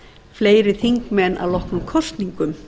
fleiri þingmenn að loknum kosningum